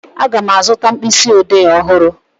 Aga m azụta mkpịsịodee ọhụrụ